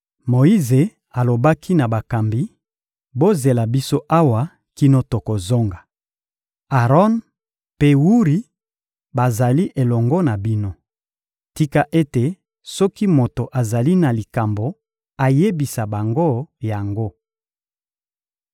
Moyize alobaki na bakambi: «Bozela biso awa kino tokozonga. Aron mpe Wuri bazali elongo na bino. Tika ete soki moto azali na likambo, ayebisa bango yango.»